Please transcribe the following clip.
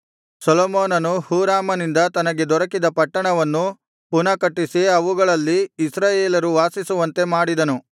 ಸೊಲೊಮೋನನು ಹೂರಾಮನಿಂದ ತನಗೆ ದೊರಕಿದ ಪಟ್ಟಣವನ್ನು ಪುನಃ ಕಟ್ಟಿಸಿ ಅವುಗಳಲ್ಲಿ ಇಸ್ರಾಯೇಲರು ವಾಸಿಸುವಂತೆ ಮಾಡಿದನು